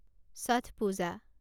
Chhath Puja